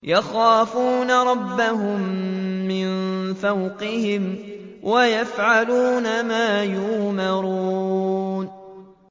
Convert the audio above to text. يَخَافُونَ رَبَّهُم مِّن فَوْقِهِمْ وَيَفْعَلُونَ مَا يُؤْمَرُونَ ۩